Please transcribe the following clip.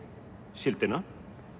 síldina